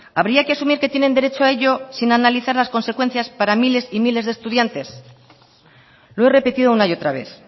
habría que asumir que tienen derecho a ello sin analizar las consecuencias para miles y miles de estudiantes lo he repetido una y otra vez